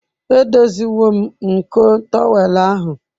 Edoziwo m nko tọwel ahụ.